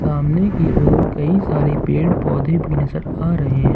सामने की ओर कई सारे पेड़ पौधे भी नजर आ रहे हैं।